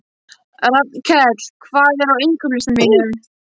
Rafnkell, hvað er á innkaupalistanum mínum?